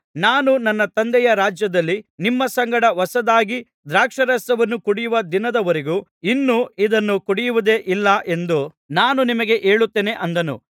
ನಾನು ನನ್ನ ತಂದೆಯ ರಾಜ್ಯದಲ್ಲಿ ನಿಮ್ಮ ಸಂಗಡ ಹೊಸದಾಗಿ ದ್ರಾಕ್ಷಾರಸವನ್ನು ಕುಡಿಯುವ ದಿನದವರೆಗೂ ಇನ್ನು ಇದನ್ನು ಕುಡಿಯುವುದೇ ಇಲ್ಲ ಎಂದು ನಾನು ನಿಮಗೆ ಹೇಳುತ್ತೇನೆ ಅಂದನು